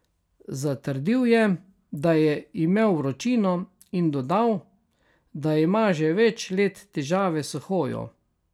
Zatrdil je, da je imel vročino, in dodal, da ima že več let težave s hojo.